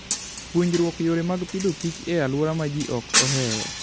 Puonjruok yore mag pidhoKich e alwora ma ji ok ohero.